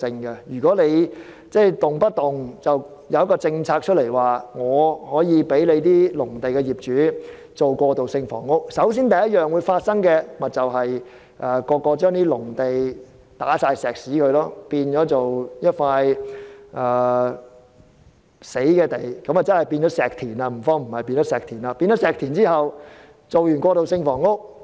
如果政府隨便推出政策，准許農地業主興建過渡性房屋，第一個結果，便是農地業主會在農地鋪上混凝土，將農地變成"死地"或所謂的"石田"，之後興建過渡性房屋。